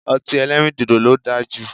Ọti ẹlẹrindodo lo daa ju